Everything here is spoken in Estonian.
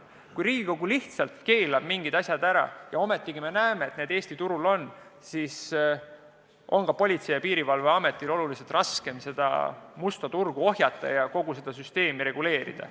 Kui Riigikogu lihtsalt keelab mingid asjad ära ja me siiski näeme, et need Eesti turul liiguvad, siis on Politsei- ja Piirivalveametil oluliselt raskem seda musta turgu ohjata ja kogu süsteemi reguleerida.